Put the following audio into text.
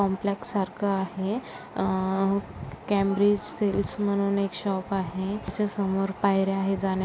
complex सारखं आहे अ कॅम्ब्रिज सेल्स म्हणून एक शॉप आहे त्याच्या समोर पायऱ्या आहे जाण्या--